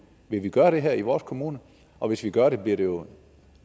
vil vi gøre det her i vores kommune og hvis vi gør det bliver det jo